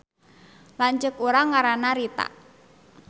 Lanceuk urang ngaranna Rita